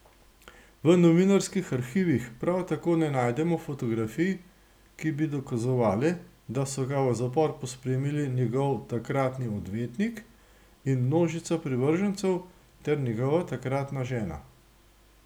V novinarskih arhivih prav tako ne najdemo fotografij, ki bi dokazovale, da so ga v zapor pospremili njegov takratni odvetnik in množica privržencev ter njegova takratna žena.